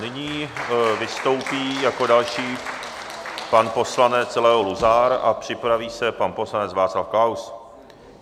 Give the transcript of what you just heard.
Nyní vystoupí jako další pan poslanec, Leo Luzar, a připraví se pan poslanec Václav Klaus.